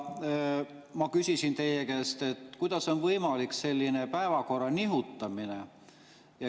Ma küsisin teie käest, kuidas on võimalik selline päevakorra nihutamine.